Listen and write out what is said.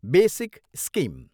Basic scheme.